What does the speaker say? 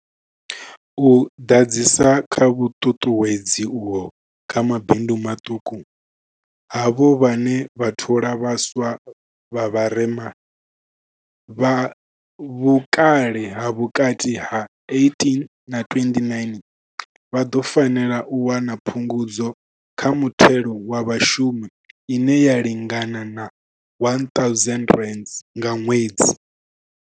U ḓadzisa kha vhuṱuṱuwedzi uho kha mabindu maṱuku, havho vhane vha thola vha swa vha vharema, vha vhukale ha vhukati ha 18 na 29, vha ḓo fanela u wana phungudzo kha muthelo wa vhashumi ine ya lingana R1 000 nga ṅwedzi.